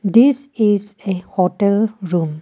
This is a hotel room.